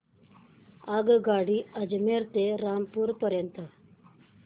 आगगाडी अजमेर ते रामपूर पर्यंत